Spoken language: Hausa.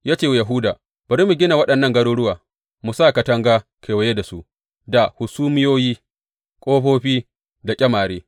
Ya ce wa Yahuda, Bari mu gina waɗannan garuruwa mu sa katanga kewaye da su, da hasumiyoyi, ƙofofi da ƙyamare.